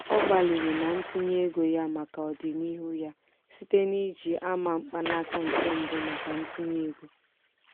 ọ gbalịrị na ntinye ego ya maka ọdinihu ya site n'iji ama mkpanaka nke mbụ maka ntinye ego.